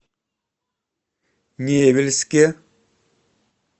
невельске